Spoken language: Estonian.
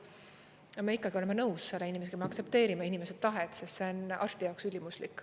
Aga me ikkagi oleme nõus selle inimesega, me aktsepteerime inimese tahet, sest see on arsti jaoks ülimuslik.